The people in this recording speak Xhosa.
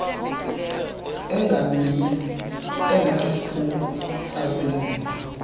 engaminye engenasiphumo sakwenziwa